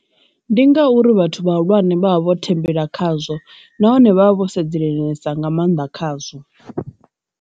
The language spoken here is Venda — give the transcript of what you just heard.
Ndi ngauri vhathu vhahulwane vhavha vho thembela khazwo nahone vha vha vho sedzesa nga maanḓa khazwo.